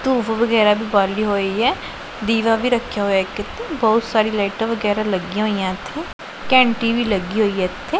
ਧੁੱਫ ਵਗੈਰਾ ਵੀ ਬਾਲੀ ਹੋਈ ਹੈ ਦੀਵਾ ਵੀ ਰੱਖਿਆ ਹੋਇਆ ਇੱਕ ਇਥੇ ਬਹੁਤ ਸਾਰੀ ਲਾਈਟਾਂ ਵਗੈਰਾ ਲੱਗੀਆਂ ਹੋਈਆਂ ਇਥੇ ਘੰਟੀ ਵੀ ਲੱਗੀ ਹੋਈ ਹ ਇਥੇ।